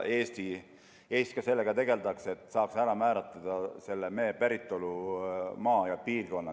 Eestis sellega ka tegeletakse, et saaks kindlaks määrata mee päritolumaa ja -piirkonna.